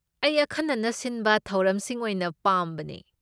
ꯑꯩ ꯑꯈꯟꯅꯅ ꯁꯤꯟꯕ ꯊꯧꯔꯝꯁꯤꯡ ꯑꯣꯏꯅ ꯄꯥꯝꯕꯅꯦ꯫